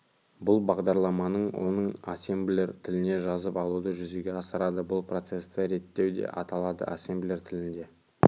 бұл бағдарламаның оны ассемблер тіліне жазып алуды жүзеге асырады бұл процесті реттеу деп аталады ассемблер тілінде